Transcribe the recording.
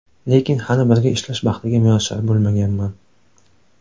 Lekin hali birga ishlash baxtiga muyassar bo‘lmaganman.